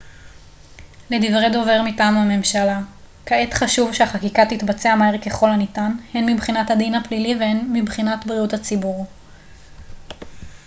לדברי דובר מטעם הממשלה כעת חשוב שהחקיקה תתבצע מהר ככל הניתן הן מבחינת הדין הפלילי והן מבחינת בריאות הציבור